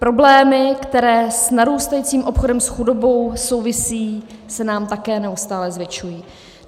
Problémy, které s narůstajícím obchodem s chudobou souvisejí, se nám také neustále zvětšují.